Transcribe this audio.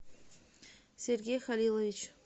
сергей халилович